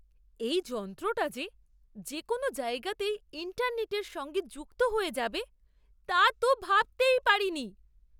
এই যন্ত্রটা যে, যে কোনও জায়গাতেই ইন্টারনেটের সঙ্গে যুক্ত হয়ে যাবে তা তো ভাবতেই পারিনি!